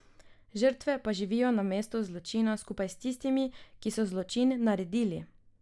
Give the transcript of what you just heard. Žrtve pa živijo na mesto zločina skupaj s tistimi, ki so zločin naredili.